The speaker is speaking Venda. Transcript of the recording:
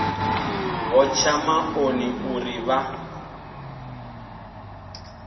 vho tsha maṱoni uri vha